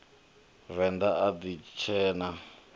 venḓa a ni tshee na